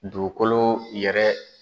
Dugukolo yɛrɛ